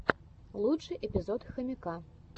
лучший эпизод хомяка